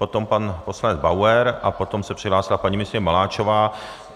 Potom pan poslanec Bauer a potom se přihlásila paní ministryně Maláčová.